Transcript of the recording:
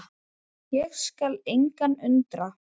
og skal engan undra.